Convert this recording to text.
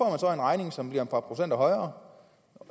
en regning som bliver et par procenter højere